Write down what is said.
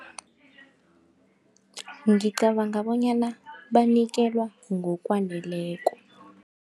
Ngicabanga bonyana banikelwa ngokwaneleko.